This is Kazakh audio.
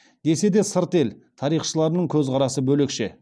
десе де сырт ел тарихшыларының көзқарасы бөлекше